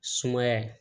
Sumaya